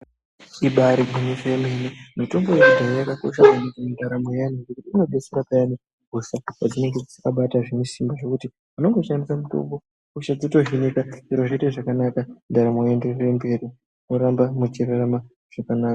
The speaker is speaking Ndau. Ibari gwinyiso remene mitombo yekudhaya yakakosha maningi mundaramo yeantu ngekuti inodetsera payani hosha painenge yabata zvinesimba, ngekuti unongoshandisa mutombo hosha dzotodzimika zviro zvoita zvakanaka ndaramo yotoenda mberi mworamba muchirarama zvakanaka.